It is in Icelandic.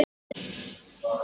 Yrkja hann!